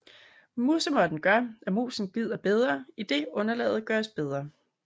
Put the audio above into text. Musemåtten gør at musen glider bedre idet underlaget gøres bedre